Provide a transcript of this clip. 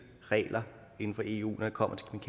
regler inden for eu når det kommer